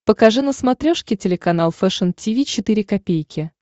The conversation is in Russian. покажи на смотрешке телеканал фэшн ти ви четыре ка